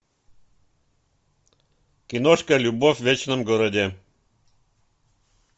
киношка любовь в вечном городе